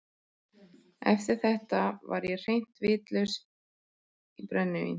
Eftir þetta var ég hreint vitlaus í brennivín.